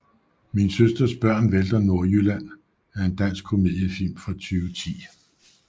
Min søsters børn vælter Nordjylland er en dansk komediefilm fra 2010